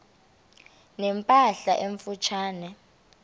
ne mpahla emfutshane